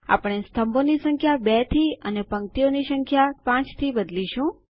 આપણે સ્તંભો ની સંખ્યા ૨ થી અને પંક્તિઓની સંખ્યા ૫ થી બદલીશું